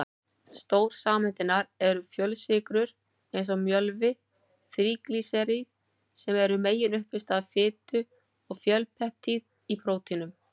Stórsameindirnar eru fjölsykrur eins og mjölvi, þríglýseríð sem eru meginuppistaða fitu, og fjölpeptíð í prótínum.